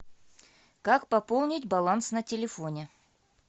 как пополнить баланс на телефоне